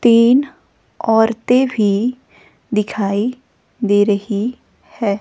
तीन औरतें भी दिखाई दे रही है.